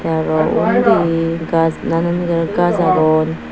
aro undi gaj nanangari gaj aagon.